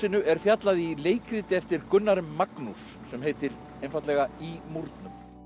er fjallað í leikriti eftir Gunnar m Magnúss sem heitir einfaldlega í múrnum